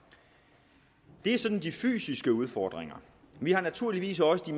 det er sådan de fysiske udfordringer vi har naturligvis også